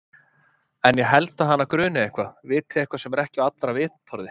En ég held að hana gruni eitthvað, viti eitthvað sem ekki er á allra vitorði.